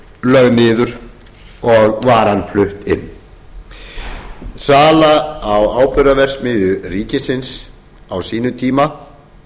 lögð niður og varan flutt inn sala á áburðarverksmiðja ríkisins á sínum tíma